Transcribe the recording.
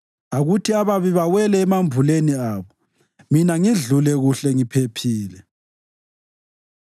Akuthi ababi bawele emambuleni abo, mina ngidlule kuhle ngiphephile.